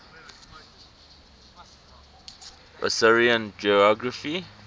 assyrian geography